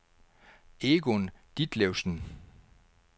Egon Ditlevsen